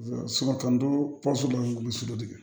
Samadonda ninnu su de bɛ